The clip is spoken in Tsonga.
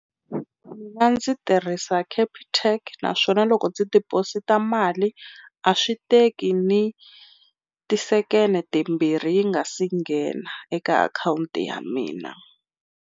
A ndzi tirhisa Capitec naswona loko ndzi deposit-a mali a swi teki ni tisekende timbirhi yi nga si nghena eka akhawunti ya mina.